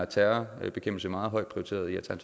terrorbekæmpelse meget højt